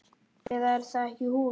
Eða er það ekki hún?